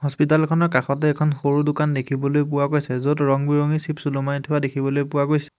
Hospital খনৰ কাষতে এখন সৰু দোকান দেখিবলৈ পোৱা গৈছে য'ত ৰং বিৰঙী চ্চিপ্ছ ওলোমাই থোৱা দেখিবলৈ পোৱা গৈছে।